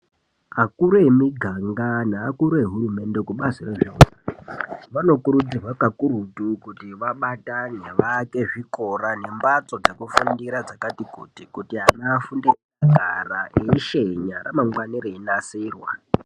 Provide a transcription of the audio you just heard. Akuru emuganga neakuru ehurumende vanokurudzirwa kakurutu kuti vabatane vaake zvikora nembatso dzekufundira dzakati kuti kuti ana afundire akagara eishenya ramangwana reinasirwa .